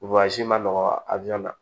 ma nɔgɔ ajɛrɛna